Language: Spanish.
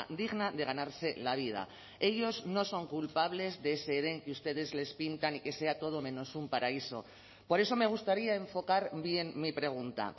digna de ganarse la vida ellos no son culpables de ese edén que ustedes les pintan y que sea todo menos un paraíso por eso me gustaría enfocar bien mi pregunta